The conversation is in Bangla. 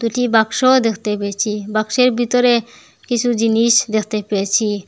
একটি বাক্সও দেখতে পেয়েছি বাক্সের ভিতরে কিসু জিনিস দেখতে পেয়েছি।